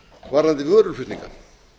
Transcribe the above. varðandi vöruflutninga